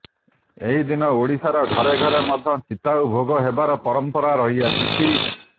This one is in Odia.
ଏହି ଦିନ ଓଡ଼ିଶାର ଘରେ ଘରେ ମଧ୍ୟ ଚିତଉ ଭୋଗ ହେବାର ପରମ୍ପରା ରହିଆସିଛି